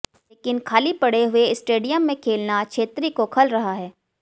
लेकिन खाली पड़े हुए स्टेडियम में खेलना छेत्री को खल रहा है